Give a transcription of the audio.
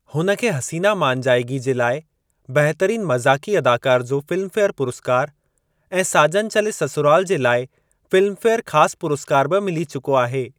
हुन खे 'हसीना मान जाएगी' जे लाइ बहितरीन मज़ाक़ी अदाकार जो फिल्मफेयर पुरस्कार ऐं 'साजन चले ससुराल' जे लाइ फिल्मफेयर ख़ासु पुरस्कार बि मिली चुको आहे।